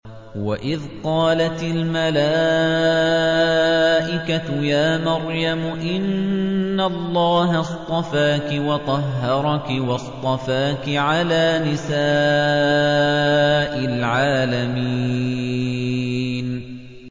وَإِذْ قَالَتِ الْمَلَائِكَةُ يَا مَرْيَمُ إِنَّ اللَّهَ اصْطَفَاكِ وَطَهَّرَكِ وَاصْطَفَاكِ عَلَىٰ نِسَاءِ الْعَالَمِينَ